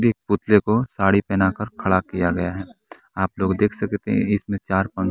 एक पुतले को साड़ी पहना कर खड़ा किया गया हैं आप लोग देख सकते हैं इसमे चार--